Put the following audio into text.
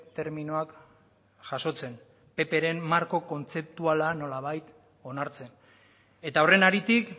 terminoak jasotzen ppren marko kontzeptuala nolabait onartzen eta horren haritik